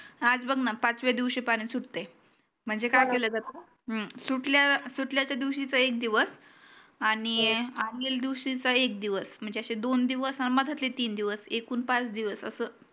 आज बघ ना पाचव्या दिवशी पानी सुटते म्हणजे काय केले जाते सुटल्या सुटल्या च्या दिवशी चा एक दिवस आणि मागील दिवशी चा एक दिवस म्हणजे असे दोन दिवस अन मधातले तीन दिवस एकूण पाच दिवस